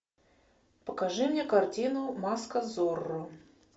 покажи мне картину маска зорро